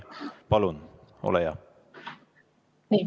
Palun, ole hea!